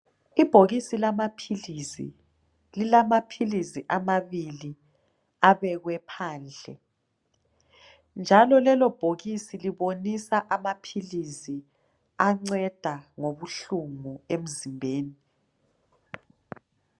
Ibhokisi lamaphilisi lilamaphilisi amabili abekwe phansi njalo lelo bhokisi libonisa amaphilisi anceda ngobuhlungu emzimbeni